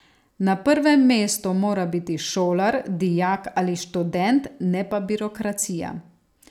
Na prvem mestu mora biti šolar, dijak ali študent, ne pa birokracija.